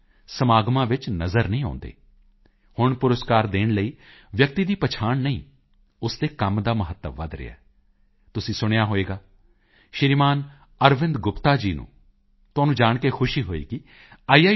ਵਿੱਚ ਸਮਾਗਮਾਂ ਵਿੱਚ ਨਜ਼ਰ ਨਹੀਂ ਆਉਂਦੇ ਹੁਣ ਪੁਰਸਕਾਰ ਦੇਣ ਲਈ ਵਿਅਕਤੀ ਦੀ ਪਛਾਣ ਨਹੀਂ ਉਸ ਦੇ ਕੰਮ ਦਾ ਮਹੱਤਵ ਵਧ ਰਿਹਾ ਹੈ ਤੁਸੀਂ ਸੁਣਿਆ ਹੋਣਾ ਸ਼੍ਰੀਮਾਨ ਅਰਵਿੰਦ ਗੁਪਤਾ ਜੀ ਨੂੰ ਤੁਹਾਨੂੰ ਜਾਣ ਕੇ ਖੁਸ਼ੀ ਹੋਵੇਗੀ ਆਈ